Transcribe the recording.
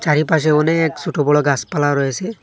চারিপাশে অনেক ছোট বড়ো গাছপালা রয়েছে।